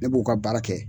Ne b'u ka baara kɛ